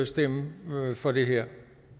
stemme for det her